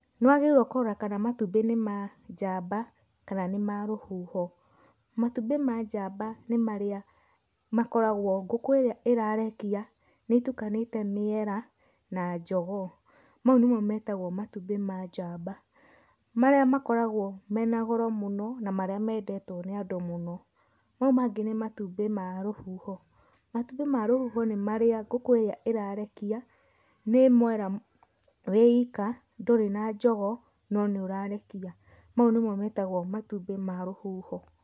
Nĩ wagĩrĩirwo kũrora kana matumbĩ nĩ ma njamba, kana nĩ ma rũhuho. Matumbĩ ma njamba nĩ marĩa, makoragwo ngũkũ ĩrĩa ĩrarekia nĩ ĩtukanĩte mĩera na jogoo, mau nĩmo metagwo matumbĩ ma njamba, marĩa makoragwo mena goro mũno na marĩa mendetwo nĩ andũ mũno. Mau mangĩ nĩ matumbĩ ma rũhuho. Matumbĩ ma rũhuho nĩ marĩa ngũkũ ĩrĩa ĩrarekia, nĩ mwera we ika, ndũrĩ na njogoo, no nĩ ũrarekia. Mau nĩmo metagwo matumbĩ ma rũhuho.